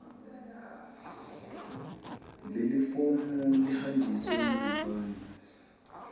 lelifomu lihanjiswe ngesandla